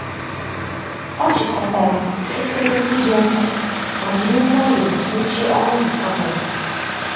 ọ chịkọtara efere ndị dị ọcha ma jiri nwayọọ mechie ọnụ ụzọ kabọọdụ.